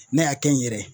Ne y'a kɛ n yɛrɛ ye